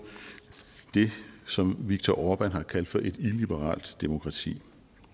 det som viktor orbán har kaldt for et illiberalt demokrati